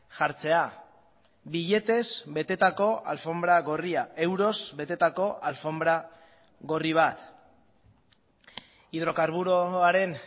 jartzea biletez betetako alfonbra gorria euroz betetako alfonbra gorri bat hidrokarburoaren